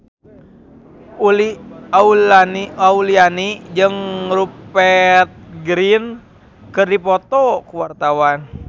Uli Auliani jeung Rupert Grin keur dipoto ku wartawan